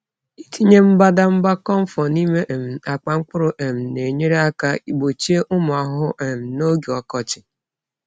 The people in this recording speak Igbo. Ịtinye mbadamba camphor n’ime um akpa mkpụrụ um na-enyere aka gbochie ụmụ ahụhụ um n’oge ọkọchị.